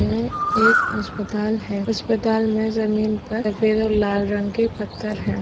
यह एक अस्पताल है अस्पताल मे जमीन पर सफ़ेद और लाल रंग के पत्थर है।